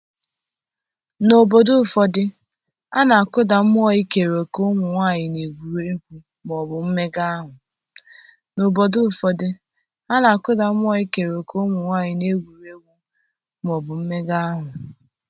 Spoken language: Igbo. n'obodo ụfọdụ, a na-akụda mmụọ ikere òkè ụmụ nwanyị n'egwuregwu ma ọ bụ mmega ahụ